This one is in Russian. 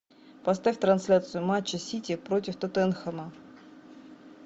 поставь трансляцию матча сити против тоттенхэма